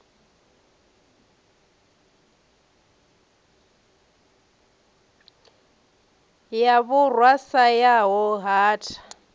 ya vhurwa sa yaho hatha